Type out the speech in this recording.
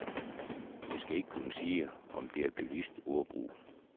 Jeg skal ikke kunne sige, om det er bevidst ordbrug.